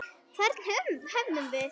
Hvern höfðum við?